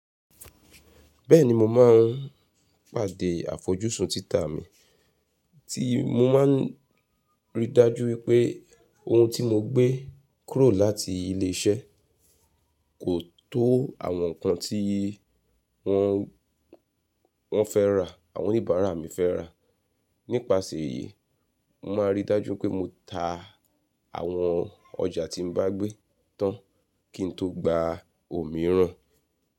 Bẹ́ẹ̀ni mo máa ń pàdé àfojúsùn títà mi, tí mo máa ń rí i dájú wípé ohun tí mo gbé kúrò láti ilé iṣẹ́ kò tó àwọn ǹkan tí wọ́n, wọ́n fẹ́ rà, àwọn oníbàárà mi fẹ́ rà. Nípasẹ̀ èyí, mo máa ń rí i dájú pé mo ta àwọn ọjà tí mo bá gbé tán kí n tó gba òmíràn.